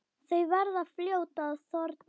Þau verða fljót að þorna.